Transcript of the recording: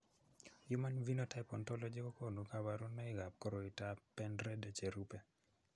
Human Phenotype Ontology kokonu kabarunoikab koriotoab Pendred cherube.